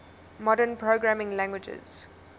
modern programming languages